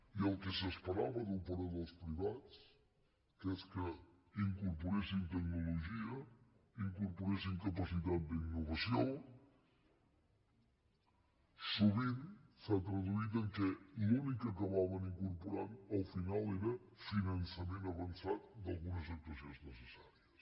i el que s’esperava d’operadors privats que és que incorporessin tecnologia incorporessin capacitat d’innovació sovint s’ha traduït en el fet que l’únic que hi acabaven incorporant al final era finançament avançat d’algunes actuacions necessàries